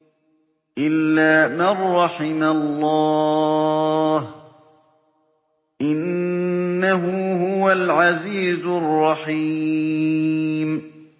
إِلَّا مَن رَّحِمَ اللَّهُ ۚ إِنَّهُ هُوَ الْعَزِيزُ الرَّحِيمُ